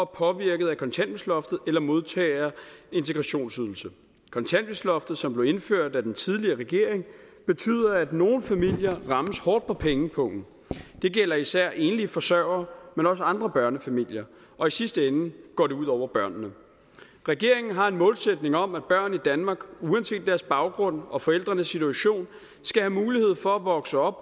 påvirket af kontanthjælpsloftet eller modtager integrationsydelse kontanthjælpsloftet som blev indført af den tidligere regering betyder at nogle familier rammes hårdt på pengepungen det gælder især enlige forsørgere men også andre børnefamilier og i sidste ende går det ud over børnene regeringen har en målsætning om at børn i danmark uanset deres baggrund og forældrenes situation skal have mulighed for at vokse op